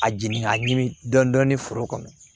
A jigin k'a ɲimi dɔɔnin dɔɔnin foro kɔnɔ